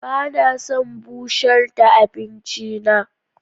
Ba na son bushar da abinci na.